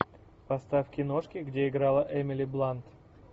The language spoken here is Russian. поставь киношки где играла эмили блант